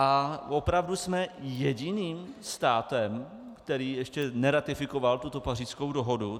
A opravdu jsme jediným státem, který ještě neratifikoval tuto Pařížskou dohodu?